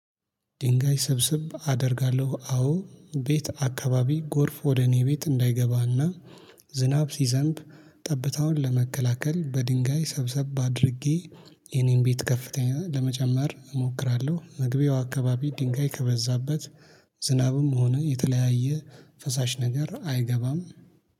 ድንጋይ ሰብስብ አደርጋለሁ አዎ ቤት አከባቢ ጎርፍ ወደ እኔ ቤት እንዳይገባና ዝናብ ሲዘንብ ጠብታውን ለመከላከል በድንጋይ ሰብሰብ አድርጌ የኔን ቤት ከፍታ ለመጨመር እሞክራለሁ። መግቢያው አከባቢ ድንጋይ ከበዛበት ዝናብም ሆነ የተለያየ ፈሳሽ ነገር አይገባም